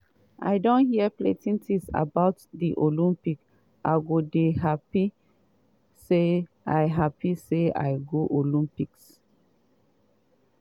i don hear plenti tins about di olympics i go dey happy say i happy say i go olympics.